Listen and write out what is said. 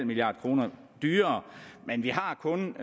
milliard kroner dyrere men vi har kun